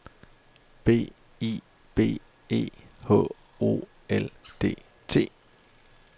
B I B E H O L D T